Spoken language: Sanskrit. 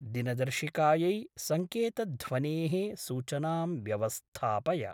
दिनदर्शिकायै सङ्केतध्वनेः सूचनां व्यवस्थापय।